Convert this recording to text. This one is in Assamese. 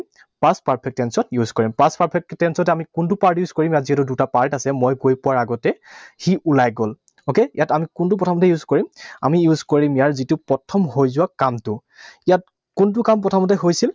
Past perfect tense ত use কৰিম। Past perfect tense ত আমি কোনটো part use কৰিম? ইয়াত যিহেতু দুটা part আছে, মই গৈ পোৱাৰ আগতে সি ওলাই গল। Okay? ইয়াত আমি কোনটো প্ৰথমতে use কৰিম? আমি use কৰিম ইয়াৰ যিটো প্ৰথম হৈ যোৱা কামটো। ইয়াত কোনটো কাম প্ৰথমতে হৈছিল?